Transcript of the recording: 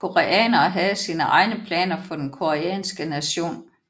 Koreanere havde sine egne planer for den koreanske nation